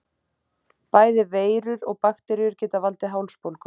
Bæði veirur og bakteríur geta valdið hálsbólgu.